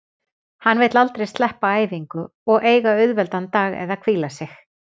Hann vill aldrei sleppa æfingu og eiga auðveldan dag eða hvíla sig.